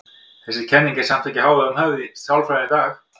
Þessi kenning er samt ekki í hávegum höfð í sálfræðinni í dag.